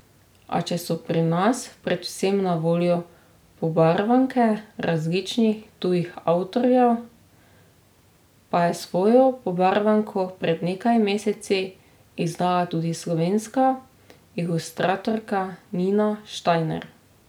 A, če so pri nas predvsem na voljo pobarvanke različnih tujih avtorjev, pa je svojo pobarvanko pred nekaj meseci izdala tudi slovenska ilustratorka Nina Štajner.